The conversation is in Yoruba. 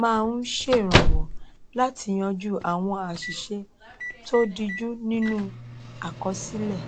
máa ń ṣèrànwọ láti yanjú àwọn àṣìṣe tó díjú nínú àkọsílẹ